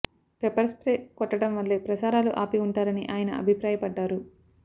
pepper spray కొట్టడం వల్లే ప్రసారాలు ఆపి ఉంటారని అయన అభిప్రాయపడ్డారు